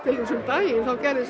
um daginn þá gerðist